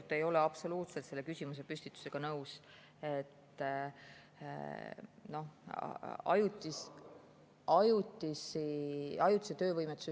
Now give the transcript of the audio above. Ma ei ole absoluutselt selle küsimusepüstitusega nõus.